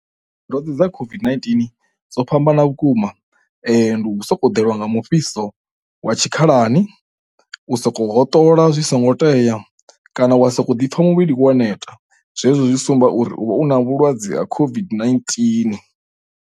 Dza COVID-19 dzo fhambana vhukuma ndi u soko ḓelwa nga mufhiso wa tshikhalani, u sokou hoṱola zwi songo tea kana wa sokou ḓipfa muvhili wo neta, zwezwo zwi sumba uri u vha u na vhulwadze ha COVID-19.